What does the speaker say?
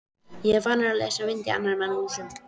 Er ég vanur að leysa vind í annarra manna húsum?